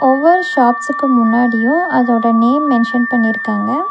ஒவ்வொரு ஷாப்ஸ்க்கு முன்னாடியு அதோட நேம் மென்ஷன் பண்ணிருக்காங்க.